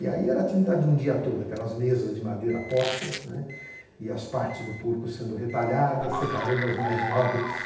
E aí era atividade de um dia todo, aquelas mesas de madeira postas, né, e as partes do porco sendo retalhadas, separando as mais nobres,